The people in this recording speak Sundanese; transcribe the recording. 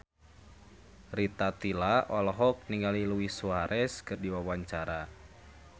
Rita Tila olohok ningali Luis Suarez keur diwawancara